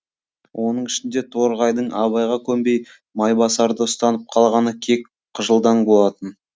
оның ішінде торғайдың абайға көнбей майбасарды ұстанып қалғаны кек қыжылдан болатын